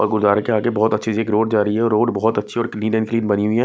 और गुरुद्वारे के आगे बहुत अच्छी एक रोड जा रही है और रोड बहुत अच्छी और क्लीन एंड क्लीन बनी हुई है।